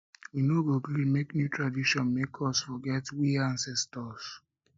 we no go gree make new tradition make us forget we ancestors